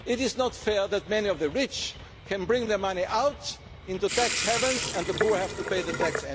fair integration. It is not fair that many of the rich can take their money out into tax havens while the poor